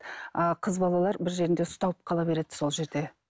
ааа қыз балалар бір жерінде ұсталып қала береді сол жерде